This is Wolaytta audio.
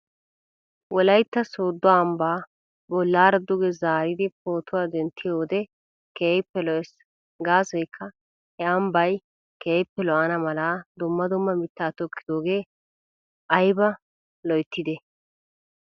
Wolaytta sooddo ambbaa bollaara duge zaaridi pootuwaa denttiyoo wode keehippe lo'es. Gaasoykka he ambbay keehippe lo'ana mala dumma dumma mitta tokkidoogee ayba lo'ettidee?